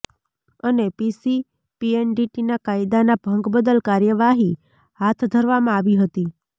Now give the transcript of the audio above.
અને પીસી પીએનડીટીના કાયદાના ભંગ બદલ કાર્યવાહી હાથ ધરવામાં આવી હતી